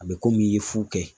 A be i ye fu kɛ.